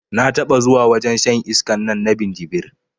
Na taɓa zuwa wajen shan iskan nan na minjibir